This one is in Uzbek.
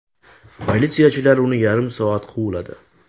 Politsiyachilar uni yarim soat quvladi.